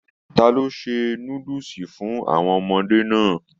Ta lo ṣe núdúsí fún àwọn ọmọdé náà?